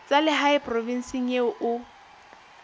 tsa lehae provinseng eo o